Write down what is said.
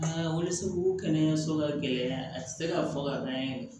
kɛnɛyaso ka gɛlɛn a tɛ se ka fɔ ka ban